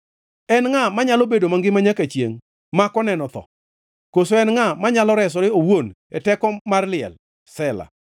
En ngʼa manyalo bedo mangima nyaka chiengʼ mak oneno tho? Koso en ngʼa manyalo resore owuon e teko mar liel? Sela